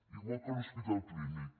igual que l’hospital clínic